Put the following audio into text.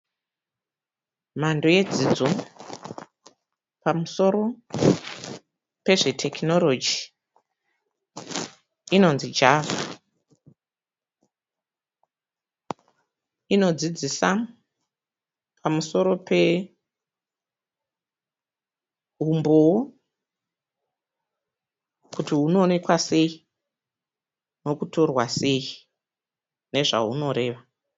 Mhando yedzidzo pamusoro pezvetekinorogi inonzi java inodzidzisa pamusoro pehumbowo kuti hunoonekwa sei nekutorwa sei nezvaunoreva.